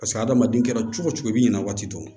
Paseke adamaden kɛra cogo cogo i b'i ɲinɛ waati dɔn